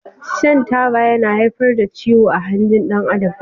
Shan Taba yana haifar da ciwo ah hanjin dan Adam.